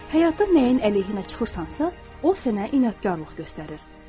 Həyatda nəyin əleyhinə çıxırsansa, o sənə inadkarlıq göstərir.